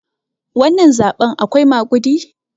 wannan zaɓen akwai magudi?